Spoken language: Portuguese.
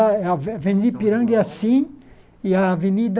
A ave veni Ipiranga é assim e a Avenida...